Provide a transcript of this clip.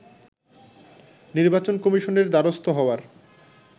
নির্বাচন কমিশনের দ্বারস্থ হওয়ার